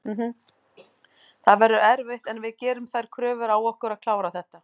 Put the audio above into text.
Það verður erfitt en við gerum þær kröfur á okkur að klára þetta.